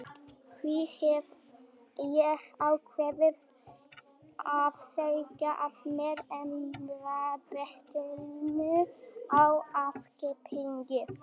Því hef ég ákveðið að segja af mér embættinu á aukaþingi.